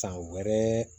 San wɛrɛ